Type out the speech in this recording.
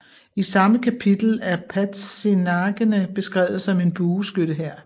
I samme kapitel er padzinagene beskrevet som en bueskyttehær